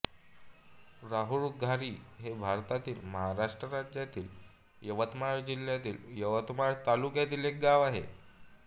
राहुळघारी हे भारतातील महाराष्ट्र राज्यातील यवतमाळ जिल्ह्यातील यवतमाळ तालुक्यातील एक गाव आहे